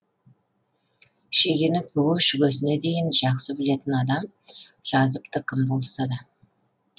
шегені бүге шігесіне дейін жақсы білетін адам жазыпты кім болса да